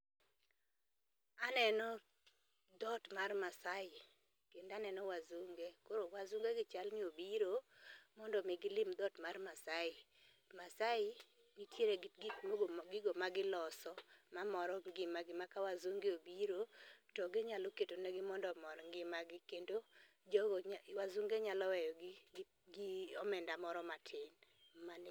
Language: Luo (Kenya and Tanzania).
Aneno dhot mar masaai kendo aneno wazunge. Koro wazunge gi chalni obiro mondo mi gilim dhot mar masai .Masaai ntiere gi gigo ma giloso mamoro gi ma ka wazunge obiro to ginyalo keto ne gi mondo omorgi ngimagi kendo jogo nya wazunge nyalo weyo gi gi omenda moro matin. Mane